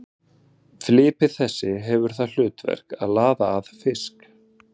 Flipi þessi hefur það hlutverk að laða að fisk.